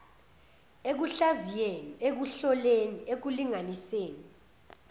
ekuhlaziyeni ekuhloleni ekulinganiseni